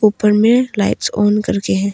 ऊपर में lights on करके है।